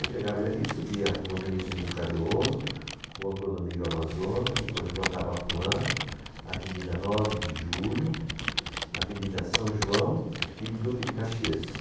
Eu pegava ele ali e subia Rua Ministro Cezino Cardoso, Rua Clodomiro Amazonas, depois Rua Tabapuã, Avenida nove de Julho, Avenida São João e Duque de Caxias.